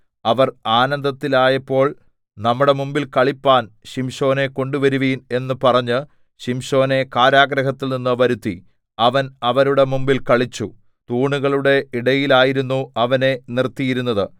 അവർ ആനന്ദത്തിലായപ്പോൾ നമ്മുടെ മുമ്പിൽ കളിപ്പാൻ ശിംശോനെ കൊണ്ടുവരുവിൻ എന്ന് പറഞ്ഞ് ശിംശോനെ കാരാഗൃഹത്തിൽനിന്ന് വരുത്തി അവൻ അവരുടെ മുമ്പിൽ കളിച്ചു തൂണുകളുടെ ഇടയിലായിരുന്നു അവനെ നിർത്തിയിരുന്നത്